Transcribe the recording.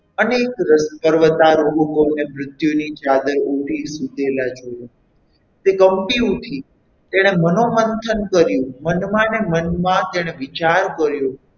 અનેક પર્વતારોહકોને મૃત્યુની ચાદર ઓઢી સૂતેલા જોયુ તે કંપી ઉઠી તેણે મનોમંથન કર્યું મનમાં ને મનમાં તેણે વિચાર કર્યો.